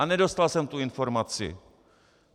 A nedostal jsem tu informaci.